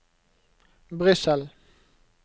Brussel